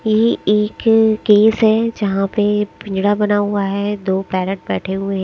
यह एक केस है जहां पे पींजड़ा बना हुआ है दो पैरेट बैठे हुए--